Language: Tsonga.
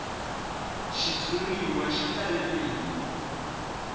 xitshuriwa xi talele hi